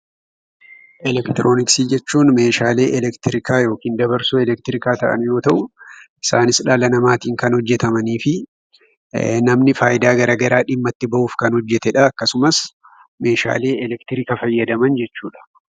Elektiroonksii jechuun meeshaalee elektirikaa yookiin dabarsoo elektirika ta'aan yoo ta'u isaanis dhala namatiin kan hojjetamanii fi namni faayida garagaraa dhimma itti ba'uuf kan hojjetedha. akkasumas, meeshaalee elektiriika fayyadaman jechuudha.